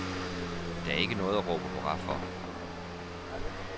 Der er ikke noget at råbe hurra for.